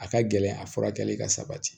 A ka gɛlɛn a furakɛli ka sabati